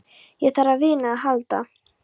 Ég þarf á vini að halda.